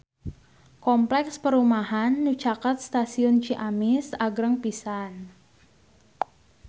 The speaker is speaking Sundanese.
Kompleks perumahan anu caket Stasiun Ciamis agreng pisan